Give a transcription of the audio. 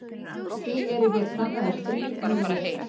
Því eru hér kannaðir þrír möguleikar.